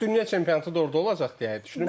dünya çempionatı da orda olacaq deyə düşünürəm.